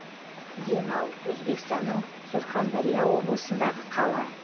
денау өзбекстанның сурхандарья облысындағы қала